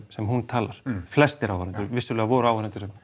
sem hún talar flestir áhorfendur vissulega voru áhorfendur